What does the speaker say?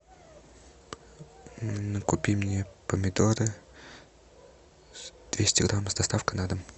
купи мне помидоры двести грамм с доставкой на дом